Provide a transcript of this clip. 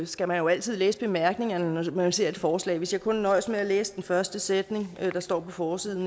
skal man jo altid læse bemærkningerne når man ser et forslag hvis jeg kun nøjedes med at læse den første sætning der står på forsiden